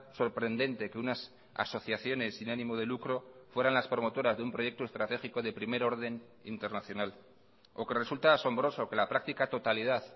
sorprendente que unas asociaciones sin ánimo de lucro fueran las promotoras de un proyecto estratégico de primer orden internacional o que resulta asombroso que la práctica totalidad